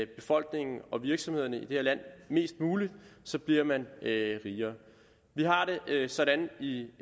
befolkningen og virksomhederne i det her land mest muligt så bliver man rigere vi har det sådan i